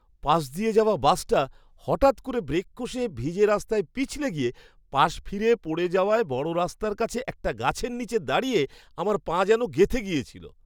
পাশ দিয়ে যাওয়া বাসটা হঠাৎ করে ব্রেক কষে ভিজে রাস্তায় পিছলে গিয়ে পাশ ফিরে পড়ে যাওয়ায় বড়রাস্তার কাছে একটা গাছের নীচে দাঁড়িয়ে আমার পা যেন গেঁথে গিয়েছিল।